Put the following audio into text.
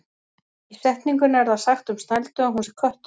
Í setningunni er það sagt um Snældu að hún sé köttur.